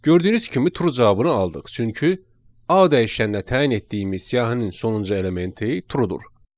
Gördüyünüz kimi true cavabını aldıq, çünki A dəyişəninə təyin etdiyimiz siyahının sonuncu elementi true-dur.